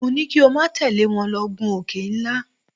Mo ní kí o má tẹ̀lé wọn lọ gun òkè ńlá.